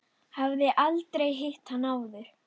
Hafði aldrei hitt hann áður.